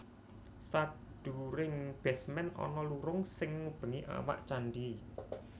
Sadhuwuring basement ana lurung sing ngubengi awak candhi